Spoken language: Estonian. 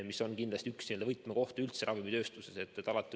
See on kindlasti üks selline võtmekoht üldse ravimitööstuses.